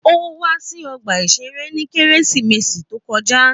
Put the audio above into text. Ó wá sí ọgbà-ìṣeré ní Kérésìmesì to kọjá